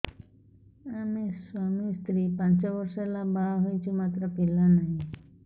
ଆମେ ସ୍ୱାମୀ ସ୍ତ୍ରୀ ପାଞ୍ଚ ବର୍ଷ ହେଲା ବାହା ହେଇଛୁ ମାତ୍ର ପିଲା ନାହିଁ